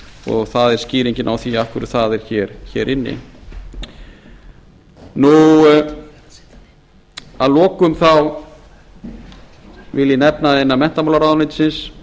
og það er skýringin á því af hverju það er inni að lokum vil ég nefna innan menntamálaráðuneytisins